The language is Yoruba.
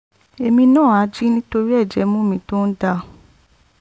èmi náà á jí nítorí ẹ̀jẹ̀ imú mi tó ń dà